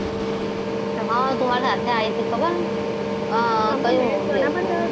આ તુ માર સાથે આઈ તી ખબર હ કયું movie હતું.